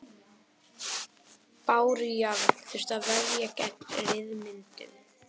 Bárujárn þurfti að verja gegn ryðmyndun.